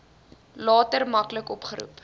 later maklik opgeroep